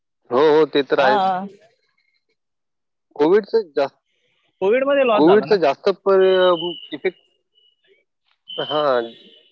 हो ते तर आहेच. कोविडचं जास्त किती